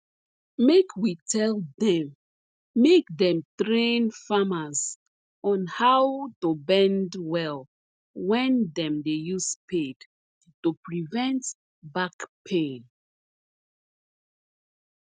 make we tell dem make dem train farmers on how to bend well when dem dey use spade to prevent back pain